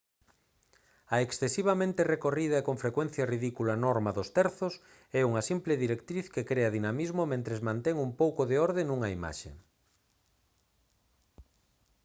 a excesivamente recorrida e con frecuencia ridícula norma dos terzos é unha simple directriz que crea dinamismo mentres mantén un pouco de orde nunha imaxe